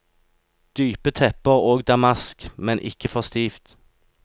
Dype tepper og damask, men ikke for stivt.